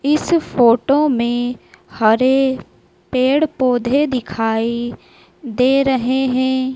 इस फोटो में हरे पेड़ पौधे दिखाई दे रहे हैं।